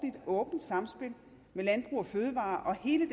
åbent sammenspil med landbrug fødevarer og hele